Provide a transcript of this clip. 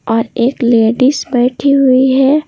और एक लेडीज बैठी हुई है।